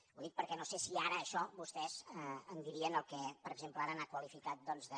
ho dic perquè no sé si ara d’això vostès en dirien el que per exemple ara ha qualificat doncs de